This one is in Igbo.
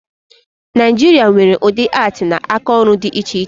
Naịjiria nwere udị atii na aka ọrụ dị iche iche